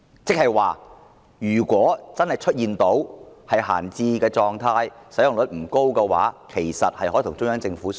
換言之，如果軍事用地真的處於閒置狀態，使用率不高，香港政府其實可與中央政府商討。